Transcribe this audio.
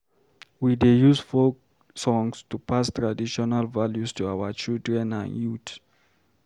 We dey use folk songs to pass traditional values to our children and youth.